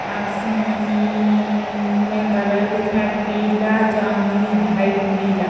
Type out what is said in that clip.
आसमानी-ई-ई में कलर दिख रहा है पीला जामुनी वाइट नीला।